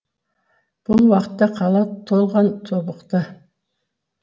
бұл уақытта қала толған тобықты